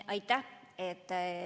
Aitäh!